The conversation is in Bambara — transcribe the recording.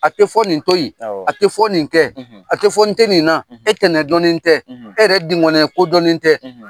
A tɛ fɔ nin to yen; Awɔ; A tɛ fɔ nin kɛ; A tɛ fɔ n tɛ nin na; E tɛnɛn dɔn ne tɛ; E yɛrɛ dingɔninya ko dɔn ne tɛ;